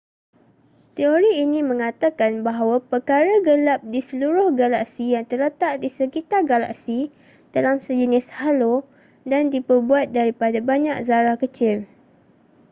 teori ini mengatakan bahawa perkara gelap di seluruh galaksi yang terletak di sekitar galaksi dalam sejenis halo dan diperbuat daripada banyak zarah kecil